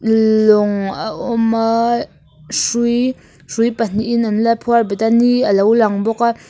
lawng a awm a hrui hrui pahnihin an la phuar bet a ni alo lang bawk a.